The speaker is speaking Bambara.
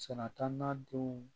Sɛnɛ taa n'a denw